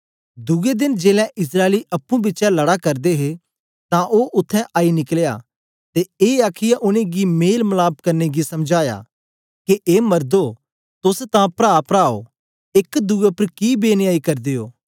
दुए देन जेलै इस्राएली अप्पुं बिचै लड़ा करदे हे तां ओ उत्थें आई निकलया ते ए आखीयै उनेंगी मेल मलाप करने गी समझाया के ए मरदो तोस तां प्राप्रा ओ एक दुए उपर कि बेन्यायी करदे ओ